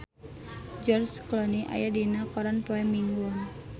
George Clooney aya dina koran poe Minggon